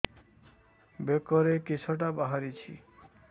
ବେକରେ କିଶଟା ବାହାରିଛି